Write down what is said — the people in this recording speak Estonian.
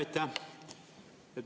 Aitäh!